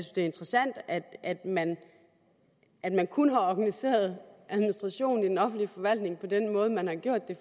det er interessant at man at man kun har organiseret administrationen i den offentlige forvaltning på den måde man har gjort